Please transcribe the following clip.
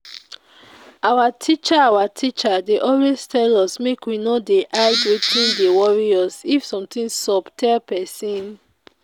Our teacher Our teacher dey always tell us make we no dey hide wetin dey worry us, if something sup tell person